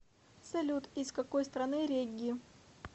салют из какой страны регги